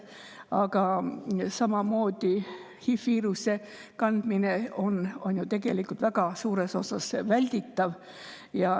Aga samamoodi on HI-viiruse kandmine tegelikult väga suures osas välditav.